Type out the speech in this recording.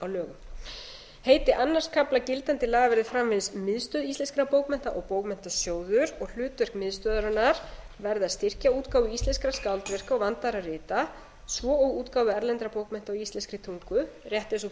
lögum heiti öðrum kafla gildandi laga verði framvegis miðstöð íslenskra bókmennta og bókmenntasjóður og hlutverk miðstöðvarinnar verði að styrkja útgáfu íslenskra skáldverka og vandaðra rita svo og útgáfu erlendra bókmennta á íslenskri tungu rétt eins og